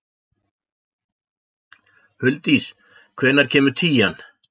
Huldís, hvenær kemur tían?